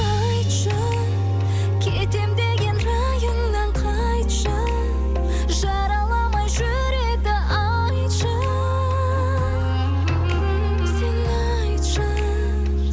айтшы кетемін деген райыңнан қайтшы жараламай жүректі айтшы сен айтшы